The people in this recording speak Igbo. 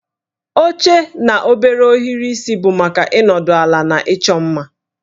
Oche na obere ohiri isi bụ maka ịnọdụ ala na ịchọ mma